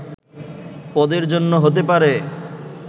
পদের জন্য হতে পারে”